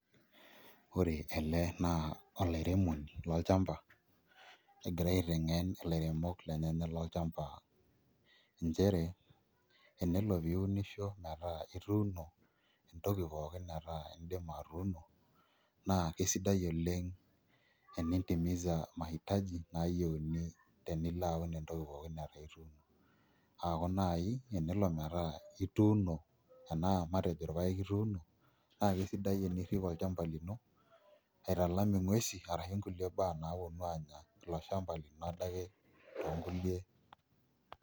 Ore ele naa olairemoni lolchamba egira aiteng'en ilaremok lenyenak lolchamba nchere enelo niunisho metaa ituuno entoki pookin metaa indima atuuno naa kesidai oleng' enintimiza mahitaji naayieuni tenilo aun entoki pookin netaa ituuno aaku naai enole metaa ituuno enna matejo irpaek ituuno naa kesidai tenirrip olchamba lino aitalam nguesi arashu nkulie baa naaponu aanya ilo shamba lino adake toonkulie,,.